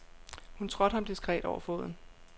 Hun trådte ham diskret over foden.